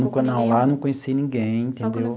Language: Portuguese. Não, lá não conheci ninguém, entendeu?